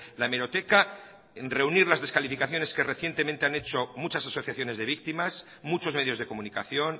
la hemeroteca reunir las descalificaciones que recientemente han hecho muchas asociaciones de víctimas muchos medios de comunicación